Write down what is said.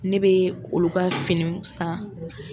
Ne bɛ olu ka finiw san.